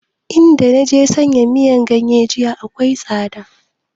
In da naje sayan miyan ganye jiya akwai tsada